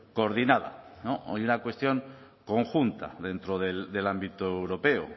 coordinada o una cuestión conjunta dentro del ámbito europeo